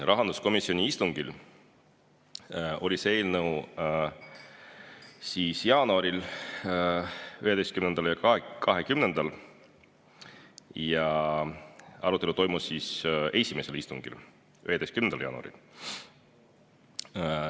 Rahanduskomisjoni istungil oli see eelnõu jaanuaris, 11‑ndal ja 20‑ndal, ning arutelu toimus esimesel istungil, 11. jaanuaril.